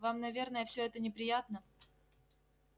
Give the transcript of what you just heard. вам наверное всё это неприятно